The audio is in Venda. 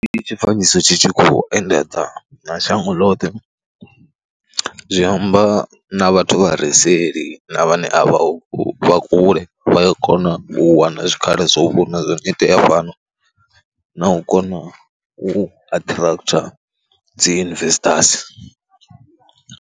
Ndi tshifanyiso tshi tshi khou endedza na shango ḽoṱhe zwi amba na vhathu vha re seḽi na vhane a vhaho kule vha a kona u wana zwikhala zwa u vhona zwo no khou itea fhano na u kona u attractor dzi investors.